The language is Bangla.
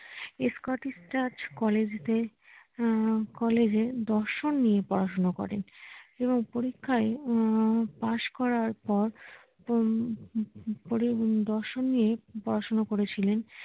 স্কটিশ চার্চ কলেজ দে আহ কলেজে এ দর্শন নিয়ে পড়াশোনা করেন এবং পরীক্ষায় আহ পাস করার পর দর্শন নিয়ে পড়াশুনো করেছিলেন